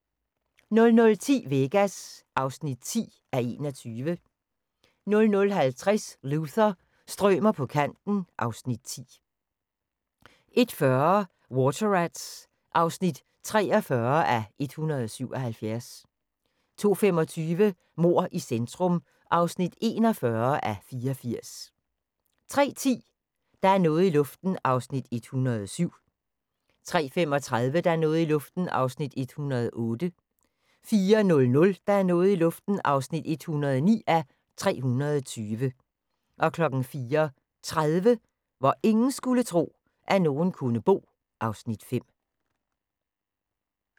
00:10: Vegas (10:21) 00:50: Luther – strømer på kanten (Afs. 10) 01:40: Water Rats (43:177) 02:25: Mord i centrum (41:84) 03:10: Der er noget i luften (107:320) 03:35: Der er noget i luften (108:320) 04:00: Der er noget i luften (109:320) 04:30: Hvor ingen skulle tro, at nogen kunne bo (Afs. 5)